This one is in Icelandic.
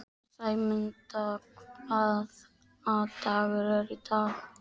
Sæmunda, hvaða dagur er í dag?